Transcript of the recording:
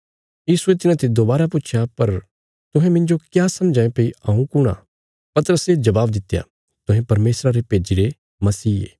यीशुये तिन्हाते दोबारा पुच्छया पर तुहें मिन्जो क्या समझां ये भई हऊँ कुण आ पतरसे जबाब दित्या तुहें परमेशरा रे भेजीरे मसीह ये